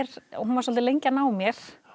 hún var svolítið lengi að ná mér